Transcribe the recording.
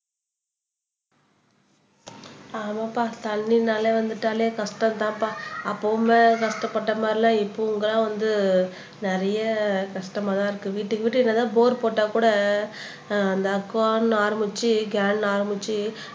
ஆமாப்பா தண்ணின்னாலே வந்துட்டாலே கஷ்டம் தான்பா அப்பவுமே கஷ்டப்பட்ட மாதிரி எல்லாம் இப்பவும்தான் வந்து நிறைய கஷ்டமா தான் இருக்கு வீட்டுக்கு என்னதான் போர் போட்ட கூட அந்த அக்குவான்னு ஆரம்பிச்சு கேன்ல ஆரம்பிச்சு